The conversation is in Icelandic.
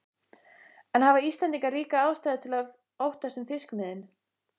En hafa Íslendingar ríka ástæðu til að óttast um fiskimiðin?